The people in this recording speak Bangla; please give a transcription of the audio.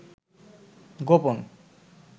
গোপন